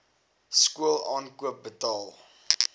skool aankoop betaal